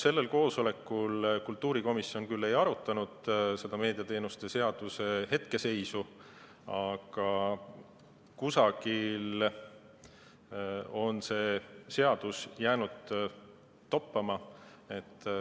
Sellel koosolekul kultuurikomisjon küll ei arutanud meediateenuste seaduse hetkeseisu, aga kusagil on see seadus jäänud toppama.